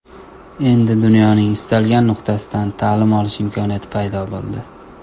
Endi dunyoning istalgan nuqtasidan ta’lim olish imkoniyati paydo bo‘ldi.